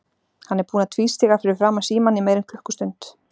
Hann er búinn að tvístíga fyrir framan símann í meira en klukkustund.